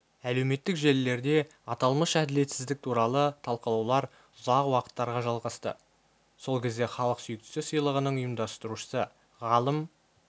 әлеуметтік желілерде аталмыш әділетсіздік туралы талқылаулар ұзақ уақыттарға жалғасты сол кезде халық сүйіктісі сыйлығының ұйымдастырушысы ғалым